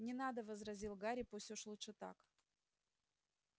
не надо возразил гарри пусть уж лучше так